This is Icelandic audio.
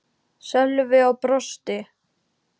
Sölvi og brosti.